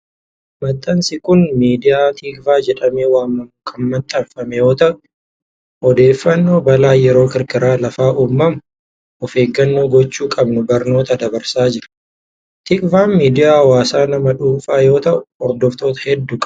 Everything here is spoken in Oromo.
Maxxansi kun miidiyaa TIKVAH jedhamee waamamuun kan maxxanfame yoo ta'u, odeeffannoo balaan yeroo kirkirri lafaa uumamu of eeggannoo gochuu qabnu barnoota dabarsaa jira. TIKVAHn miidiyaa hawaasaa nama dhuunfaa yoo ta'u, hordoftoota hedduu qaba.